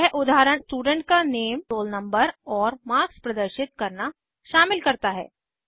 यह उदाहरण स्टूडेंट का नेम रोल नंबर और मार्क्स प्रदर्शित करना शामिल करता है